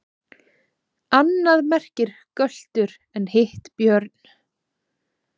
Annað merkir göltur en hitt björn.